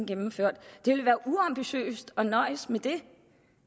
gennemført det ville være uambitiøst at nøjes med det